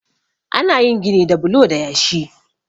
ana yin gini da bulo da yashi